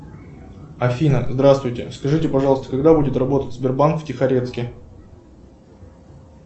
афина здравствуйте скажите пожалуйста когда будет работать сбербанк в тихорецке